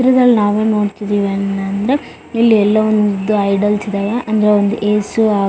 ಚಿತ್ರದಲ್ಲಿ ನಾವು ನೋಡತ್ತಿದಿವಿ ಏನ್ ಅನ್ ಅಂದ್ರೆ ಇಲ್ಲಿ ಎಲ್ಲವನ್ನು ಉದ್ದ ಐಡಲ್ಸ್ ಇದಾವೆ ಅಂದ್ರೆ ಒಂದು ಯೇಸು ಆಕಾರ್ .